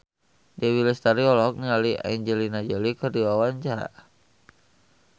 Dewi Lestari olohok ningali Angelina Jolie keur diwawancara